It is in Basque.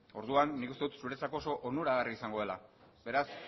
orduan nik uste dut zuretzako oso onuragarria izango dela beraz